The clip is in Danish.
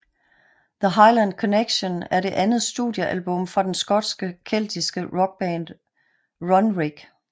The Highland Connection er det andet studiealbum fra den skotske keltiske rockband Runrig